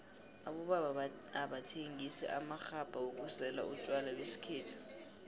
abobaba abathengisa amaxhabha wokusela utjwala besikhethu